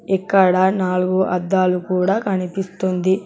ఇక్కడ నాలుగు అద్దాలు కూడా కనిపిస్తుంది.